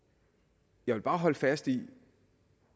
jeg vil bare holde fast i